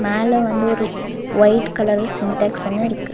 மேல வந்து ஒரு ஒயிட் கலர்ல சின்டெக்ஸ் ஒன்னு இருக்கு.